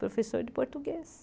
Professor de português.